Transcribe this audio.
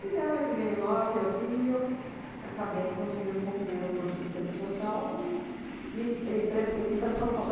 Me deram oito e meio, nove e assim eu f acabei conseguindo concluir o curso de serviço social e vim e pres e vim para São Paulo.